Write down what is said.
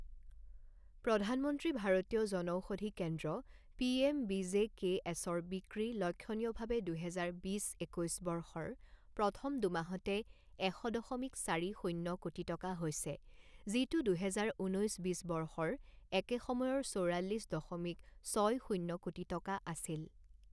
প্ৰধানমন্ত্ৰী ভাৰতীয় জনষৌধি কেন্দ্ৰ P M B J K এছৰ বিক্ৰী লক্ষণীয়ভাৱে দুহেজাৰ বিছ একৈছ বৰ্ষৰ প্ৰথম দুমাহতে এশ দশমিক চাৰি শণ্য কোটি টকা হৈছে, যিটো দুহেজাৰ ঊনৈছ বিছ বৰ্ষৰ একে সময়ৰ চৌৰাল্লিছ দশমিক ছয় শূণ্য কোটি টকা আছিল।